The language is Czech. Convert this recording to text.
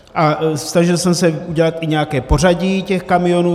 A snažil jsem se udělat i nějaké pořadí těch kamionů.